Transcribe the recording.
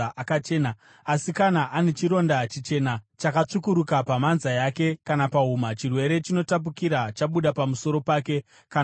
Asi kana ane chironda chichena chakatsvukuruka pamhanza yake kana pahuma, chirwere chinotapukira chabuda pamusoro pake kana pahuma.